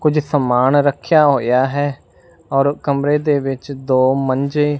ਕੁਝ ਸਮਾਨ ਰੱਖਿਆ ਹੋਇਆ ਹੈ ਔਰ ਕਮਰੇ ਦੇ ਵਿੱਚ ਦੋ ਮੰਜੇਂ --